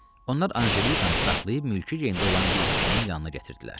Onlar Anjelikanı da saxlayıb mülki geymdə olan bir kişinin yanına gətirdilər.